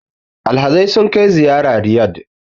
Alhazai sukai ziyara Riyad